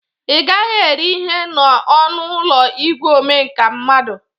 Ị gaghi eri ihe n'ọnụ ụlọ igwe omeka mmadụ